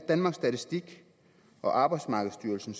danmarks statistik og arbejdsmarkedsstyrelsen